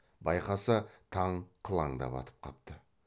байқаса таң қылаңдап атып қапты